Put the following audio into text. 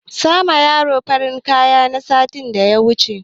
Sa ma yaro farin kaya na sa datti da wuri